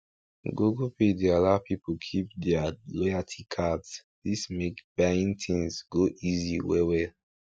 google pay dey allow people keep deir loyalty cards dis make buying things go easy well well